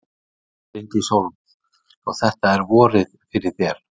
Bryndís Hólm: Svo þetta er vorið fyrir þér?